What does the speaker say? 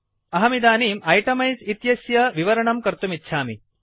अहं इदानीं इटेमाइज़ इत्यस्य विवरणं कर्तुमिच्छामि